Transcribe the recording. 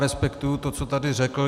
Respektuji to, co tady řekl.